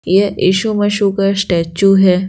ये यीशु मशू का स्टैचू है।